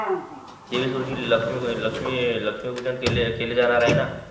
तेवीस रोजी लक्ष्मी पूजन लक्ष्मी लक्ष्मी पूजन केले केले जाणार आहे ना